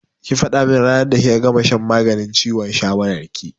Ki faɗa min ranar da kika gama shan maganin ciwon shawaran ki!